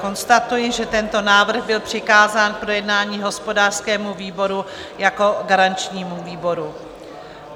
Konstatuji, že tento návrh byl přikázán k projednání hospodářskému výboru jako garančnímu výboru.